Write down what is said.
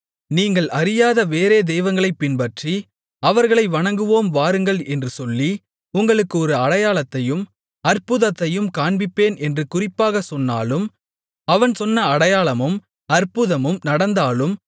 நீங்கள் அறியாத வேறே தெய்வங்களைப் பின்பற்றி அவர்களை வணங்குவோம் வாருங்கள் என்று சொல்லி உங்களுக்கு ஒரு அடையாளத்தையும் அற்புதத்தையும் காண்பிப்பேன் என்று குறிப்பாகச் சொன்னாலும் அவன் சொன்ன அடையாளமும் அற்புதமும் நடந்தாலும்